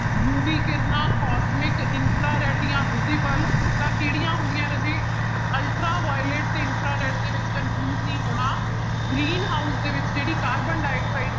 UV ਕਿਰਨਾਂ ਤੇ infrared ਜਾਂ visible ਤਾਂ ਕਿਹੜੀਆਂ ਹੁੰਦੀਆਂ ਰਾਜੇ ultra violet ਤੇ infrared ਦੇ ਵਿੱਚ confuse ਨੀ ਹੋਣਾ green house ਦੇ ਵਿੱਚ ਜਿਹੜੀ ਕਾਰਬਨ ਡਾਇਆਕਸਾਇਡ